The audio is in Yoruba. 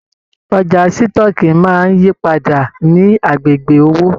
Ọjà sitọ̀ọ́kíi máa n yípadà ní agbègbè òwò.